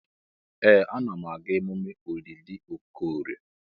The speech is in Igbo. Ee! Ana m aga emume olili Okorie.